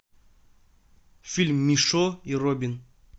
фильм мишо и робин